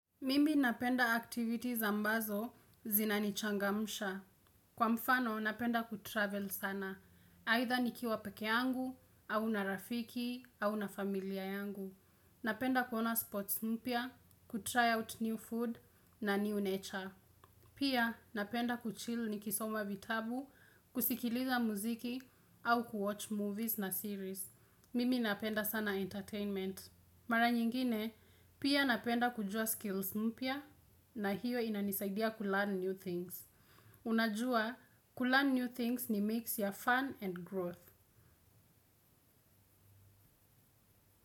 Mimi napenda activities ambazo zinanichangamsha. Kwa mfano, napenda kutravel sana. Aidha nikiwa peke yangu, au na rafiki, au na familia yangu. Napenda kuona sports mpya, kutry out new food na new nature. Pia, napenda kuchill nikisoma vitabu, kusikiliza muziki, au kuwatch movies na series. Mimi napenda sana entertainment. Mara nyingine, pia napenda kujua skills mpya na hiyo inanisaidia kulearn new things. Unajua, kulearn new things ni mix ya fun and growth.